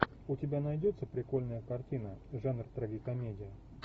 у тебя найдется прикольная картина жанр трагикомедия